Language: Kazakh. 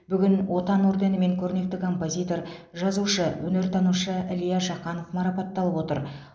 бүгін отан орденімен көрнекті композитор жазушы өнертанушы илья жақанов марапатталып отыр